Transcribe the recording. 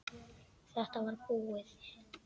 Þetta var búið.